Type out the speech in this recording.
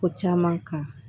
Ko caman kan